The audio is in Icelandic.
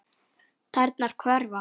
Tærnar hverfa.